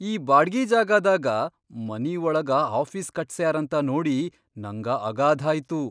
ಈ ಬಾಡ್ಗಿ ಜಾಗಾದಾಗ ಮನಿ ಒಳಗಾ ಆಫೀಸ್ ಕಟ್ಸ್ಯಾರಂತ ನೋಡಿ ನಂಗ ಅಗಾಧಾಯ್ತು.